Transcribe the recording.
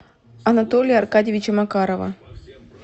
анатолия аркадьевича макарова